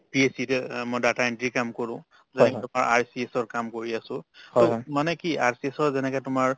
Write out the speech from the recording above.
PACS অ মই data entry ৰ কাম কৰো যেনে তোমাৰ RCS ৰ কাম কৰি আছো to মানে কি RCS ৰ যেনেকে তোমাৰ